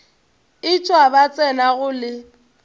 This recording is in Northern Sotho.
etšwa ba tsena go le